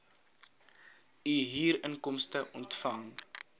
u huurinkomste ontvang